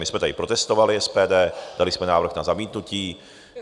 My jsme tady protestovali, SPD, dali jsme návrh na zamítnutí.